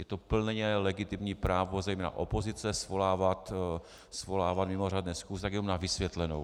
Je to plně legitimní právo zejména opozice svolávat mimořádné schůze, tak jenom na vysvětlenou.